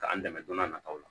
K'an dɛmɛ don n'a nataw la